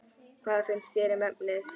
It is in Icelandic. Hvað finnst þér um efnið?